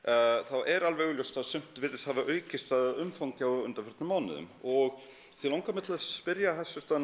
er alveg augljóst að sumt virðist hafa aukist að umfangi á undanförnum mánuðum og því langar mig til að spyrja